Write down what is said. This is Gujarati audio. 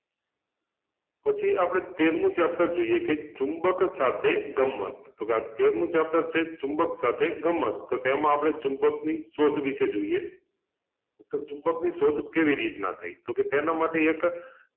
પછી આપણે તેરમું chapter જોઈએ કે ચુંબક સાથે ગમ્મત તો આ તેરમું chapter છે ચુંબક સાથે ગમ્મત તો તેમાંં આપણે ચુંબકની શોધ વિશે જોઈએ તો ચુંબકની શોધ કેવી રીતના થઈ? તો કે તેના માટે એક